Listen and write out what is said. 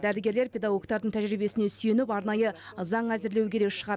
дәрігерлер педагогтардың тәжірибесіне сүйеніп арнайы заң әзірлеу керек шығар